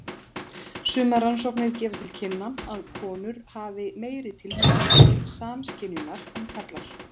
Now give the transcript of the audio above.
Sumar rannsóknir gefa til kynna að konur hafi meiri tilhneigingu til samskynjunar en karlar.